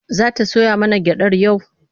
Za ta soya mana gyaɗar yau?